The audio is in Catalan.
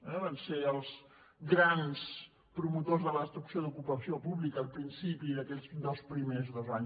eh van ser els grans promotors de la destrucció d’ocupació pública al principi aquells primers dos anys